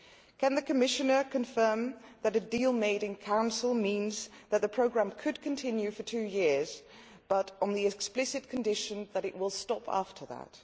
Can the Commissioner confirm that a deal made in Council means that the programme could continue for two years, but on the explicit condition that it will stop after that?